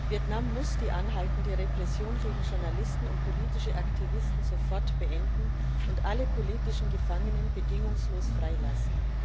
Vietnam muss die anhaltende Repression gegen Journalisten und politische Aktivisten sofort beenden und alle politischen Gefangenen bedingungslos freilassen.